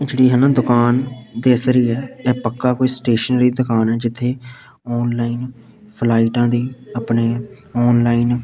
ਜਿਹੜੀ ਹੈ ਨਾ ਦੁਕਾਨ ਦਿਸ ਰਹੀ ਆ ਇਹ ਪੱਕਾ ਕੋਈ ਸਟੇਸ਼ਨਰੀ ਦੁਕਾਨ ਆ ਜਿੱਥੇ ਆਨਲਾਈਨ ਫਲਾਈਟਾਂ ਦੀ ਆਪਣੇ ਆਨਲਾਈਨ --